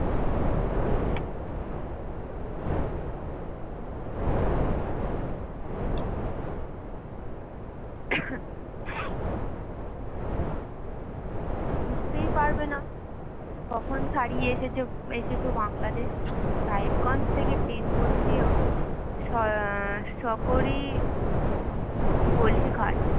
বুঝতেই পারবে না কখন ছাড়িয়ে এসেছ এসেছো বাংলাদেশ সাহেবগঞ্জ থেকে train বদলিয়ে সরকি গলি ঘাট।